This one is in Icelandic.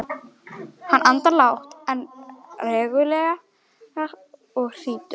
Hann andar lágt en reglulega og hrýtur.